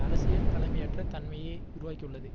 அரசியல் தலைமையற்ற தன்மையை உருவாக்கியுள்ளது